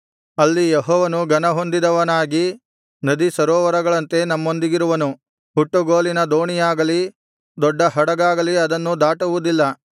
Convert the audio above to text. ಅಲ್ಲಿ ಯೆಹೋವನು ಘನಹೊಂದಿದವನಾಗಿ ನದಿಸರೋವರಗಳಂತೆ ನಮ್ಮೊಂದಿಗಿರುವನು ಹುಟ್ಟುಗೋಲಿನ ದೋಣಿಯಾಗಲಿ ದೊಡ್ಡ ಹಡಗಾಗಲಿ ಅದನ್ನು ದಾಟುವುದಿಲ್ಲ